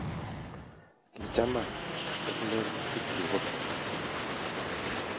Kichaman ak lelutikchu kobek